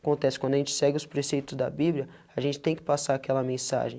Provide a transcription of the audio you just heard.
acontece quando a gente segue os preceitos da Bíblia, a gente tem que passar aquela mensagem.